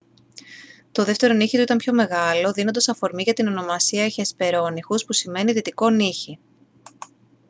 το δεύτερο νύχι του ήταν πιο μεγάλο δίνοντας αφορμή για την ονομασία hesperonychus που σημαίνει «δυτικό νύχι»